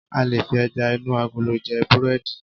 a lè fi eja inu agolo je burẹdi